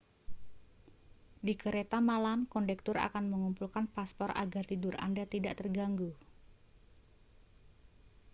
di kereta malam kondektur akan mengumpulkan paspor agar tidur anda tidak terganggu